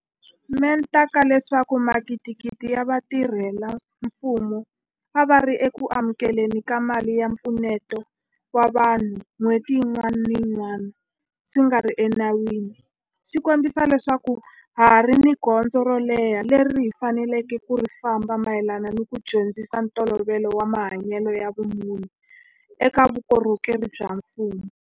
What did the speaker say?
Mente ka leswaku magidigidi ya vatirhela mfumo a va ri eku amukele ni ka mali ya mpfuneto wa vanhu n'hweti yin'wana ni yin'wana swi nga ri enawini swi kombisa leswaku ha ha ri ni gondzo ro leha leri hi faneleke ku ri famba mayelana ni ku dyondzisa ntolovelo wa mahanyelo ya vumunhu eka vukorhokeri bya mfumo.